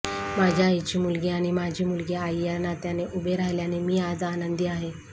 माझ्या आईची मुलगी आणि माझी मुलगी आई या नात्याने उभे राहिल्याने मी आज आनंदी आहे